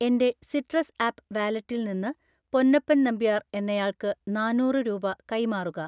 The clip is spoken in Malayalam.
എൻ്റെ സിട്രസ് ആപ്പ് വാലറ്റിൽ നിന്ന് പൊന്നപ്പൻ നമ്പ്യാർ എന്നയാൾക്ക് നാന്നൂറ് രൂപ കൈമാറുക